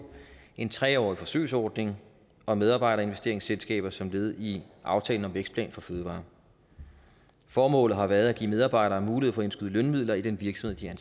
en tre årig forsøgsordning om medarbejderinvesteringsselskaber som led i aftalen vækstplan for fødevarer formålet har været at give medarbejdere mulighed for at indskyde lønmidler i den virksomhed de er